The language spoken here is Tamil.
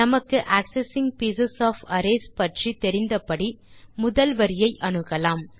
நமக்கு ஆக்செஸிங் பீஸ் ஒஃப் அரேஸ் பற்றி தெரிந்தபடி முதல் வரியை அணுகலாம்